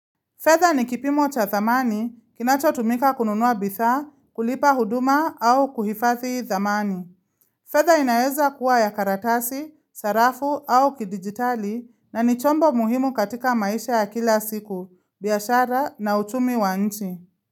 Fedha ni kipimo cha thamani, kinacho tumika kununua bidhaa, kulipa huduma au kuhifathi thamani. Fedha inaweza kuwa ya karatasi, sarafu au kidigitali na ni chombo muhimu katika maisha ya kila siku, biashara na uchumi wa nchi.